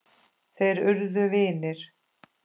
Þeir urðu vinir.